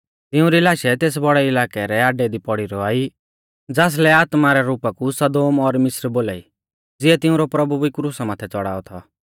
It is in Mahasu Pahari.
तिउंरी लाशै तेस बौड़ै इलाकै रै आड्डै दी पौड़ी रौआ ई ज़ासलै आत्मा रै रुपा कु सदोम और मिस्र बोलाई ज़िऐ तिंउरौ प्रभु भी क्रुसा माथै च़ौड़ाऔ थौ